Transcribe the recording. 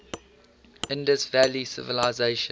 indus valley civilisation